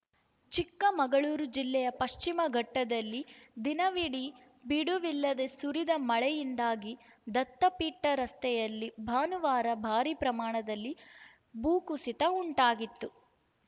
ಚಿಕ್ಕಮಗಳೂರು ಜಿಲ್ಲೆಯ ಪಶ್ಚಿಮಘಟ್ಟದಲ್ಲಿ ದಿನವಿಡೀ ಬಿಡುವಿಲ್ಲದೆ ಸುರಿದ ಮಳೆಯಿಂದಾಗಿ ದತ್ತಪೀಠ ರಸ್ತೆಯಲ್ಲಿ ಭಾನುವಾರ ಭಾರೀ ಪ್ರಮಾಣದಲ್ಲಿ ಭೂಕುಸಿತ ಉಂಟಾಗಿತ್ತು